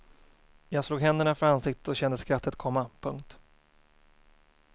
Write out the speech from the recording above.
Jag slog händerna för ansiktet och kände skrattet komma. punkt